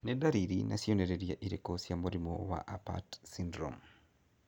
Nĩ ndariri na cionereria irĩkũ cia mũrimũ wa Apert syndrome?